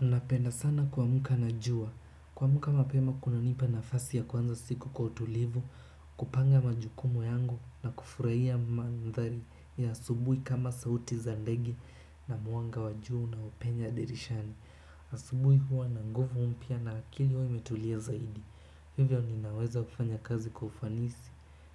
Napenda sana kuamka na jua kuamka mapema kunanipa nafasi ya kuanza siku kwa utulivu, kupanga majukumu yangu na kufurahia mandhari ya asubuhi kama sauti za ndege na mwanga wa jua unaopenya dirishani. Asubui huwa na nguvu mpya na akili huwa imetulia zaidi. Hivyo ninaweza kufanya kazi kwa ufanisi